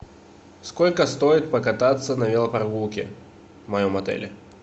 сколько стоит покататься на велопрогулке в моем отеле